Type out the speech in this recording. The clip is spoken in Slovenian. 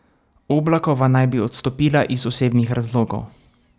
Oblakova naj bi odstopila iz osebnih razlogov.